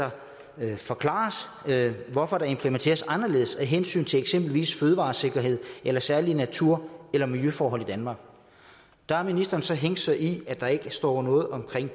det forklares hvorfor der implementeres anderledes af hensyn til eksempelvis fødevaresikkerhed eller særlige natur eller miljøforhold i danmark der har ministeren så hængt sig i at der ikke står noget om